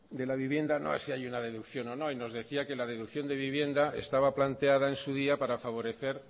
de la vivienda no es si hay una deducción o no y nos decía que la deducción de vivienda estaba planteada en su día para favorecer